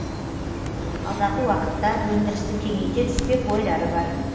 алдағы уақытта өндірісті кеңейте түспек ойлары бар